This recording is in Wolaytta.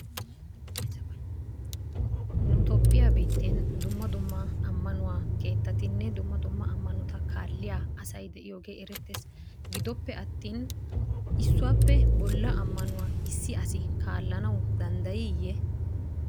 Nu Toophphiyaa biitten dumma dumma amanuwaa keettatinne dumma dumma amanotta kaaliyaa asay de'yogge erettes gidoppe attin issuwappe bolla amanuwaa issi asi kaalanawu dandayiye?